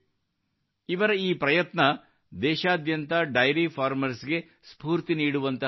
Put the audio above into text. ಇವರ ಈ ಪ್ರಯತ್ನವು ದೇಶಾದ್ಯಂತ ಡೈರಿ ಫಾರ್ಮರ್ಸ್ ಗೆ ಸ್ಫೂರ್ತಿ ನೀಡುವಂತಹದ್ದಾಗಿದೆ